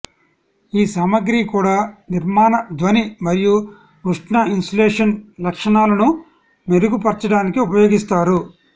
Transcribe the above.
ఈ సామగ్రి కూడా నిర్మాణ ధ్వని మరియు ఉష్ణ ఇన్సులేషన్ లక్షణాలను మెరుగుపర్చడానికి ఉపయోగిస్తారు